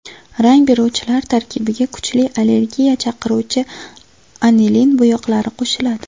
Rang beruvchilar tarkibiga kuchli allergiya chaqiruvchi anilin bo‘yoqlari qo‘shiladi.